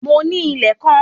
Mo ní ilẹ̀ kan